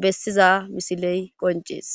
bessiza misiley qoncees.